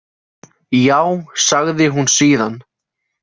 Já, sagði hún síðan.